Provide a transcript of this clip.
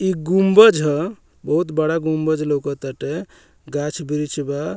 ई गुम्बज ह बहुत बड़ा गुम्बज लौक ताटे गाछ वृक्ष ह।